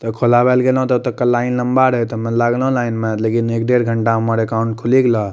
तो खोलावे ले गेलो ते ओतोका लाइन लम्बा रहे ते हम्मे लागलो लाइन में लेकिन एक डेढ़ घंटा में हमर अकाउंट खुली गेलोह --